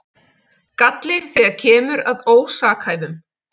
Galli þegar kemur að ósakhæfum